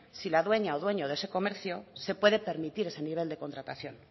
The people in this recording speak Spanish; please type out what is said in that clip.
si la dueña o dueño de ese comercio se puede permitir ese nivel de contratación